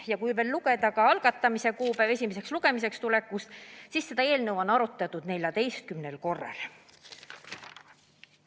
Ja kui arvesse võtta ka algatamise kuupäev, siis võib öelda, et seda eelnõu on arutatud 14 korral.